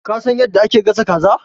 Ka san yadda ake gasa kaza?